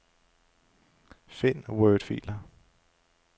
Find wordfiler.